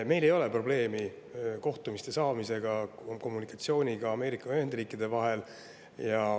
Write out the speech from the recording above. Meil ei ole probleemi kohtumiste ja kommunikatsiooniga meie ja Ameerika Ühendriikide vahel.